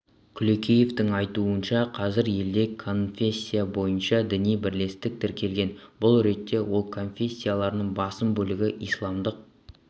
күлекеевтің айтуынша қазір елде конфессия бойынша діни бірлестік тіркелген бұл ретте ол конфессиялардың басым бөлігі исламдық